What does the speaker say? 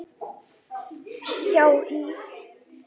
hjá HÍ.